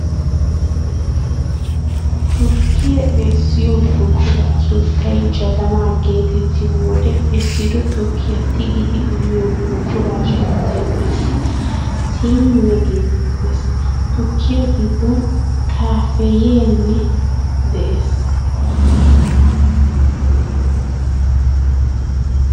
Tukkiyaa essiyo buquraa sunttay jabanaa geetettiyo wode essido tukkiyaa tigidi uyiyo buquraa sunttay qassi siiniya geetettees. Tukkiyaa giddon "kaafeeynee" de"ees.